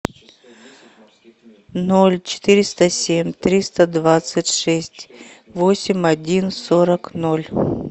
ноль четыреста семь триста двадцать шесть восемь один сорок ноль